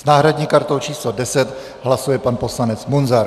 S náhradní kartou číslo 10 hlasuje pan poslanec Munzar.